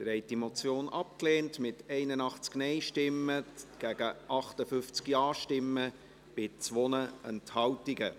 Sie haben die Motion abgelehnt, mit 58 Ja- zu 81 Nein-Stimmen bei 2 Enthaltungen.